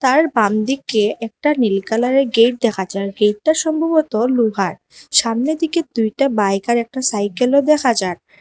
তার বাম দিকে একটা নীল কালারের গেট দেখা যার গেইটটা সম্ভবত লুহার সামনে দিকে দুইটা বাইক আর একটা সাইকেলও দেখা যার।